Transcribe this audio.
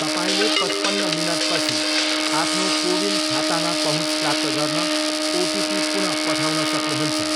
तपाईँले पचपन्न मिनटपछि आफ्नो कोविन खातामा पहुँच प्राप्त गर्न ओटिपी पुन पठाउन सक्नुहुन्छ